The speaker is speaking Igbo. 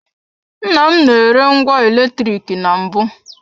Nnam na-ere ngwa eletrik na mbụ.